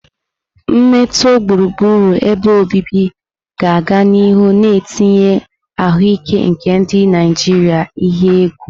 Mmetọ gburugburu ebe obibi ga-aga n'ihu na-etinye ahụike nke ndị Naijiria n'ihe egwu.